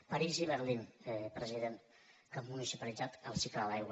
parís i berlín president que han municipalitzat el cicle de l’aigua